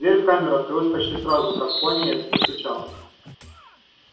дверь в камеру открылась почти сразу как пониетс постучал